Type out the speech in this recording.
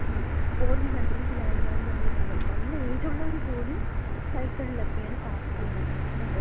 Foreign കൺട്രീസിലായിരുന്നാലും നമ്മള് കാണുന്നതല്ലേ. നല്ല ഏജൊള്ളവര് പോലും സൈക്കിളിലൊക്കെയാണ് പാർക്കിലും മറ്റുംക്ക പോണത്.